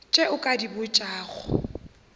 tše o ka di botšago